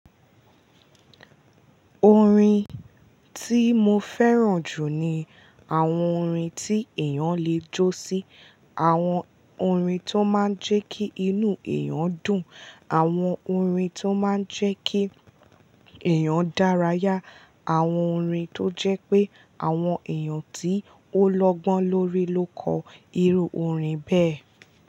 Orin tí mo fẹ́ràn jù ni àwọn orin tí èèyàn lè jó sí, àwọn orin tó máa ń jẹ́ kí inú èèyàn dùn, àwọn orin tó máa ń jẹ́ kí èèyàn dárayá, àwọn orin tó jẹ́ pé àwọn èèyàn tí ó lọ́gbọ́n lórí ló kọ irú orin bẹ́ẹ̀